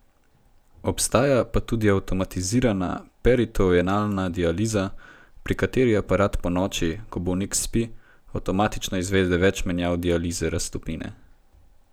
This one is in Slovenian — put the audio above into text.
Obstaja pa tudi avtomatizirana peritoenalna dializa, pri kateri aparat ponoči, ko bolnik spi, avtomatično izvede več menjav dializne raztopine.